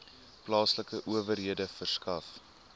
plaaslike owerhede verskaf